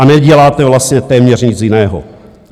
A neděláte vlastně téměř nic jiného.